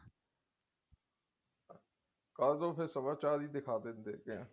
ਕਰਦੋ ਫ਼ੇਰ ਸਵਾ ਚਾਰ ਦੀ ਦਿਖਾ ਦਿੰਦੇ ਦੇਖਦੇ ਹਾਂ